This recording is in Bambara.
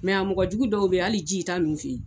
a mɔgɔ jugu dɔw bɛ ye hali ji i t'a min o fɛ ye.